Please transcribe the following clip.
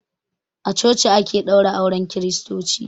A coci ake ɗaura auren kristoci.